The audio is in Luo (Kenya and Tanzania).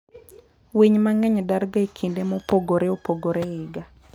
Winy mang'eny darga e kinde mopogore opogore e higa.